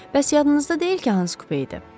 Bəs yadınızda deyil ki, hansı kupe idi?